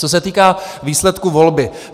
Co se týká výsledku volby.